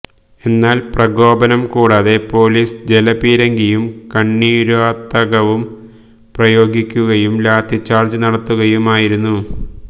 എന്നാല് പ്രകോപനം കൂടാതെ പോലിസ് ജലപീരങ്കിയും കണ്ണീര്വാതകവും പ്രയോഗിക്കുകയും ലാത്തിച്ചാര്ജ് നടത്തുകയുമായിരുന്നു